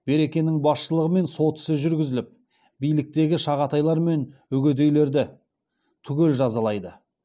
берекенің басшылығымен сот ісі жүргізіліп биліктегі шағатайлар мен үгедейлерді түгел жазалайды